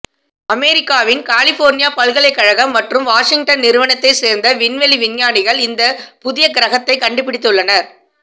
அமெரிக்காவின் கலிபோர்னியா பல்கலைக் கழகம் மற்றும் வாஷிங்டன் நிறுவனத்தை சேர்ந்த விண்வெளி விஞ்ஞானிகள் இந்த புதிய கிரகத்தைக் கண்டுபிடித்துள்ளனர்